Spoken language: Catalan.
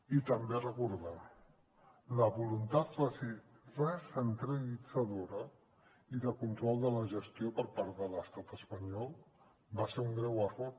i també recordar que la voluntat recentralitzadora i de control de la gestió per part de l’estat espanyol va ser un greu error